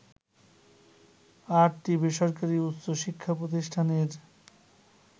আটটি বেসরকারি উচ্চশিক্ষা প্রতিষ্ঠানের